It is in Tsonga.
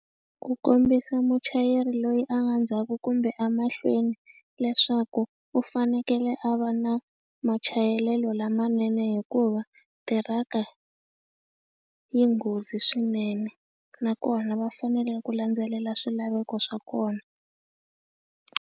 Ku kombisa muchayeri loyi a nga ndzhaku kumbe a mahlweni leswaku u fanekele a va na machayelelo lamanene hikuva, tiraka yi nghozi swinene. Nakona va fanele ku landzelela swilaveko swa kona.